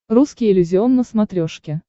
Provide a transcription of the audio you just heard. русский иллюзион на смотрешке